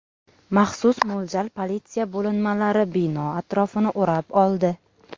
Maxsus mo‘ljal politsiya bo‘linmalari bino atrofini o‘rab oldi.